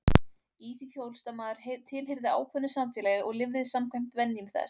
Í því fólst að maður tilheyrði ákveðnu samfélagi og lifði samkvæmt venjum þess.